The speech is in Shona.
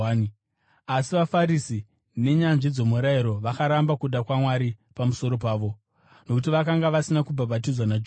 Asi vaFarisi nenyanzvi dzomurayiro vakaramba kuda kwaMwari pamusoro pavo, nokuti vakanga vasina kubhabhatidzwa naJohani.